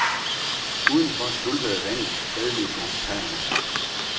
Udenfor skvulpede vandet fredeligt langs kajerne.